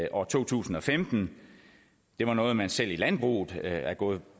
år to tusind og femten det er noget man selv i landbruget er gået